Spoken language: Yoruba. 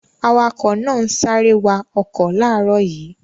Awakọ̀ náà ń sáré wa ọkọ̀ láàárọ̀ yìí.